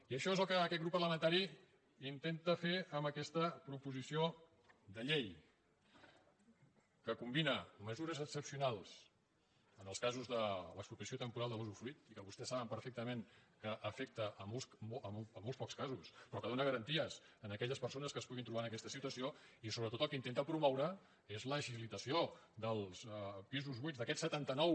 i això és el que aquest grup parlamentari intenta fer amb aquesta proposi·ció de llei que combina mesures excepcionals en els casos de l’expropiació temporal de l’usdefruit i que vostès saben perfectament que afecta molt pocs casos però que dóna garanties a aquelles persones que es pu·guin trobar en aquesta situació i sobretot el que inten·ta promoure és l’agilitació dels pisos buits d’aquests setanta·nou